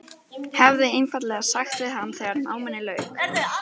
Hefði einfaldlega sagt við hann þegar náminu lauk.